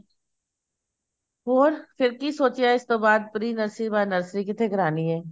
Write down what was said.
ਹੋਰ ਫੇਰ ਕੀ ਸੋਚਿਆ ਇਸ ਤੋਂ ਬਾਅਦ pre nursery ਤੋਂ ਬਾਅਦ nursery ਕਿੱਥੋਂ ਕਰਵਾਨੀ ਐ